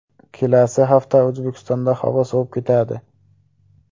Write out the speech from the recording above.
Kelasi hafta O‘zbekistonda havo sovib ketadi .